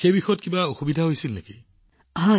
প্ৰধানমন্ত্ৰীঃ তেন্তে এইটো সম্পূৰ্ণৰূপে ঠিক হৈছিল নে